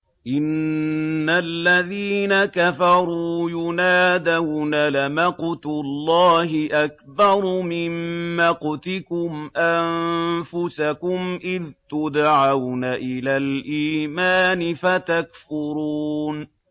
إِنَّ الَّذِينَ كَفَرُوا يُنَادَوْنَ لَمَقْتُ اللَّهِ أَكْبَرُ مِن مَّقْتِكُمْ أَنفُسَكُمْ إِذْ تُدْعَوْنَ إِلَى الْإِيمَانِ فَتَكْفُرُونَ